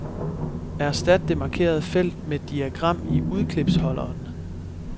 Erstat det markerede felt med diagram i udklipsholderen.